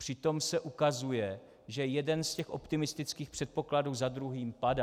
Přitom se ukazuje, že jeden z těch optimistických předpokladů za druhým padá.